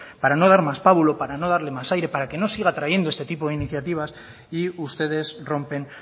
para no dar más pábulo para no darle más aire para que no siga trayendo este tipo de iniciativas y ustedes rompen